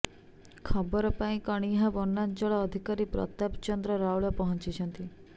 ଖବର ପାଇ କଣିହାଁ ବନାଞ୍ଚଳ ଅଧିକାରୀ ପ୍ରତାପ ଚନ୍ଦ୍ର ରାଉଳ ପହଁଚି ଛନ୍ତି